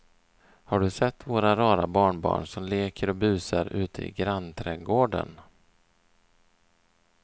Har du sett våra rara barnbarn som leker och busar ute i grannträdgården!